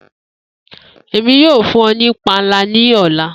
Emi yoo fun ọ ni panla ni ọla.